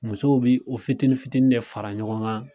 Musow be o fitini fitini de fara ɲɔgɔn kan